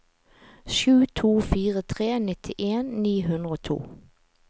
sju to fire tre nittien ni hundre og to